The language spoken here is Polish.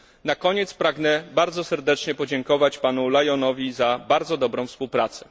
Na koniec pragnę bardzo serdecznie podziękować panu Lyonowi za bardzo dobrą współpracę.